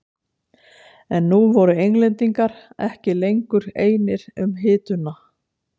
En nú voru Englendingar ekki lengur einir um hituna.